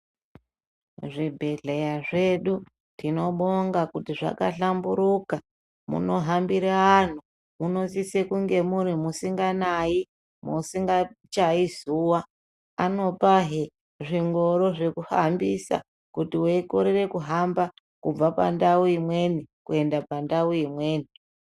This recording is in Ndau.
Zvibhedhleya zvedu tinobonga kuti zvakahlamburuka. Munohambira antu munosisa kuti musinganayi, musingachayi zuwa. Anopazvee zvingoro zvekuhambisa kuti weikorera kuhamba kubva pandau imweni kuenda pandau imweni.